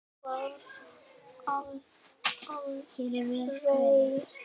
Hann var aleinn.